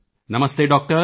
ਨਮਸਤੇ doctor